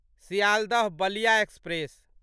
Sealdah Ballia express